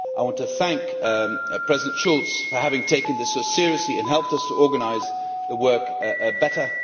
I want to thank President Schulz for having taken this so seriously and helped us to organise the work better.